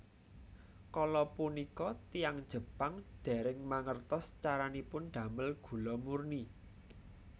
Kala punika tiyang Jepang dèrèng mangertos caranipun damel gula murni